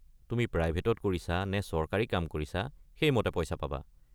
তুমি প্ৰাইভেটত কৰিছা নে চৰকাৰী কাম কৰিছা সেই মতে পইচা পাবা।